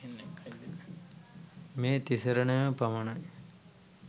මේ තිසරණයම පමණයි.